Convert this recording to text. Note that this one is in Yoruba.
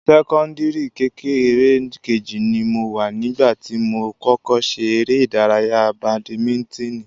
Sẹ́kọ́ńdìrì kékeré kejì ni mo wà nígbà tí mo kọ́kọ́ ṣe eré ìdárayá badimíntíìnì